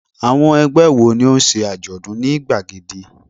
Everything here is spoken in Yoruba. Àwọn ẹgbẹ́ wo ni ó ń ṣe àjọ̀dún ní gbàgede?